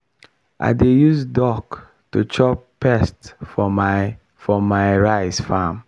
i dey use duck to chop pest for my for my rice farm.